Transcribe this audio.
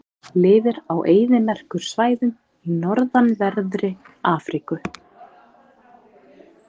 Lifir á eyðimerkursvæðum í norðanverðri Afríku.